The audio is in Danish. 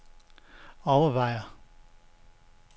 overvejer